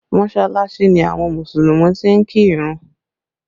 Mọsalasi ni àwọn Mùsùlùmí ti ń kí ìrun